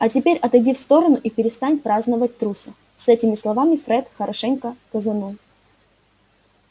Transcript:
а теперь отойди в сторону и перестань праздновать труса с этими словами фред хорошенько газанул